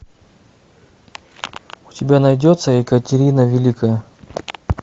у тебя найдется екатерина великая